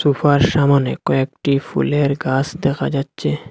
সোফার সামোনে কয়েকটি ফুলের গাছ দেখা যাচ্ছে।